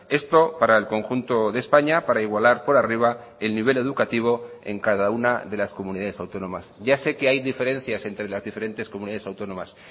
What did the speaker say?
esto para el conjunto de españa para igualar por arriba el nivel educativo en cada una de las comunidades autónomas ya sé que hay diferencias entre las diferentes comunidades autónomas